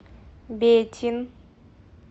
бетин